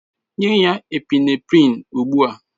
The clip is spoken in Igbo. Nye ya Epinephrine ugbu a!